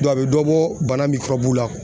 a bɛ dɔ bɔ bana la.